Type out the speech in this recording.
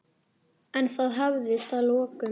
En það hafðist að lokum.